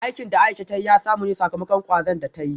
Aikin da Aisha ta yi ya samu ne sakamakon kwazon da ta yi